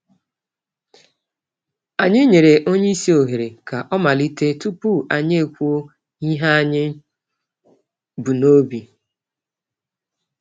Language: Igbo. Anyị nyere onyeisi ohere k'ọmalite tupu anyị ekwuo ihe anyị bú n'obi.